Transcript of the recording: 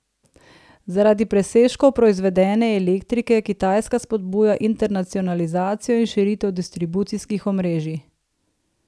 Zaradi presežkov proizvedene elektrike Kitajska spodbuja internacionalizacijo in širitev distribucijskih omrežij.